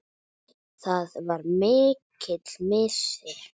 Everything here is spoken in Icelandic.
Það var mikill missir.